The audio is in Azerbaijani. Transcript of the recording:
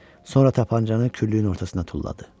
Sonra tapançanı küllüyün ortasına tulladı.